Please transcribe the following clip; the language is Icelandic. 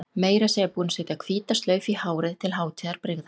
Meira að segja búin að setja hvíta slaufu í hárið til hátíðarbrigða.